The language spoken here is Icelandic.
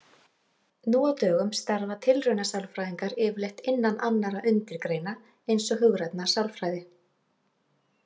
Nú á dögum starfa tilraunasálfræðingar yfirleitt innan annarra undirgreina eins og hugrænnar sálfræði.